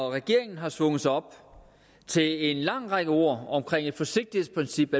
regeringen har svunget sig op til en lang række ord om et forsigtighedsprincip